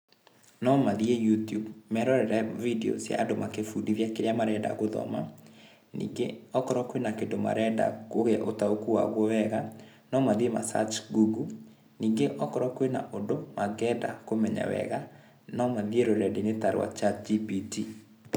Nomathii You tube merorere video cia andũ makĩbundithia kĩrĩa marenda gũthoma, ningĩ okorwo kwĩna kĩndũ marenda kũgĩa ũtaũku wauo wega nomathie ma search Google ningĩ okorwo kwĩna ũndũ mangĩenda kũmenya wega nomathiĩ rũrendainĩ ta rwa Chat gpt.